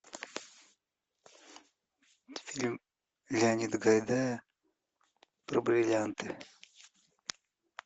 фильм леонида гайдая про бриллианты